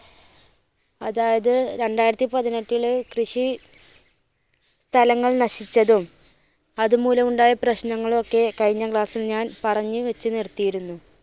അതായത് രണ്ടായിരത്തിപതിനെട്ടില് കൃഷി സ്ഥലങ്ങൾ നശിച്ചതും അതു മൂലം ഉണ്ടായ പ്രശ്നങ്ങളും ഒക്കെ കഴിഞ്ഞ class ൽ ഞാൻ പറഞ്ഞ് വെച്ച് നിർത്തിയിരുന്നു.